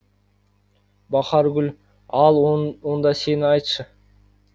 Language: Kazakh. бахаргүл ал онда сен айтшы